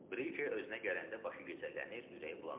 Brike özünə gələndə başı gicəllənir, ürəyi bulanırdı.